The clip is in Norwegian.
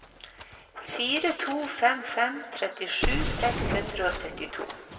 fire to fem fem trettisju seks hundre og syttito